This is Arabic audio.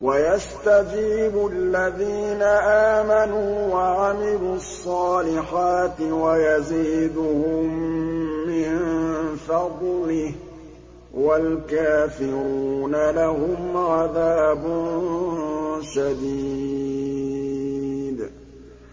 وَيَسْتَجِيبُ الَّذِينَ آمَنُوا وَعَمِلُوا الصَّالِحَاتِ وَيَزِيدُهُم مِّن فَضْلِهِ ۚ وَالْكَافِرُونَ لَهُمْ عَذَابٌ شَدِيدٌ